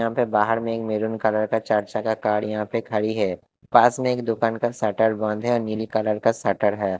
यहाँ पे बाहर में एक मेरून कलर का चर्चा का कार यहाँ पे खड़ी है पास में एक दुकान का शटर बंद है और नीली कलर का शटर है।